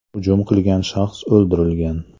Hujum qilgan shaxs o‘ldirilgan.